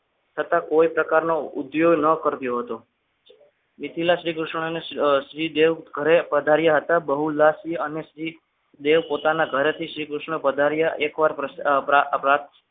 છતાં કોઈ પ્રકારનો ઉપયોગ ન કર્યો હતો નિખીલા શ્રીકૃષ્ણને શ્રીદેવ ઘરે પધાર્યા હતા બહુલાસ થી અને શ્રી દેવ પોતાના ઘરેથી શ્રીકૃષ્ણ પધાર્યા એકવાર